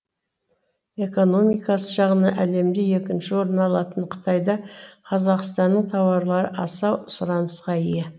экономикасы жағынан әлемде екінші орын алатын қытайда қазақстанның тауарлары аса сұранысқа ие